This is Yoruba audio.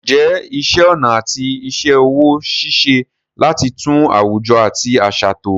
Ǹjẹ́ iṣẹ́ ọnà àti iṣẹ́ ọwọ́ ń ṣiṣẹ́ láti tún àwùjọ àti àṣà tò?